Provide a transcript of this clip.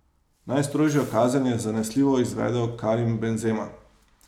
Najstrožjo kazen je zanesljivo izvedel Karim Benzema.